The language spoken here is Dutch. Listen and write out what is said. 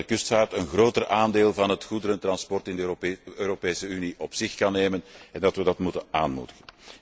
Ik denk dat de kustvaart een groter aandeel van het goederentransport in de Europese Unie op zich kan nemen en dat we dat moeten aanmoedigen.